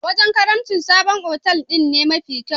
A wajen karimci, sabon otal din ne mafi kyau.